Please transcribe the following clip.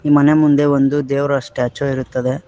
ಮನೆಯ ಮುಂದೆ ಒಂದು ದೇವರ ಸ್ಟ್ಯಾಚು ಇರುತ್ತದೆ.